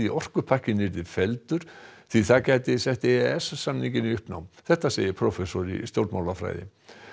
orkupakkinn yrði felldur því það gæti sett e e s samninginn í uppnám þetta segir prófessor í stjórnmálafræði